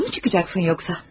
Dışarı mı çıkacaksın yoksa?